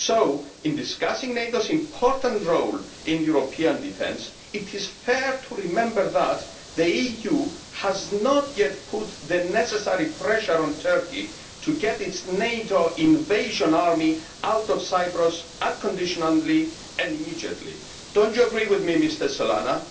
So, in discussing NATO's important role in European defence, it is fair to remember that the EU has not yet put the necessary pressure on Turkey to get its NATO invasion army out of Cyprus unconditionally and immediately. Do you not agree with me, Mr Solana?